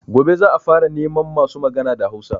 Gobe za a fara neman masu magana da Hausa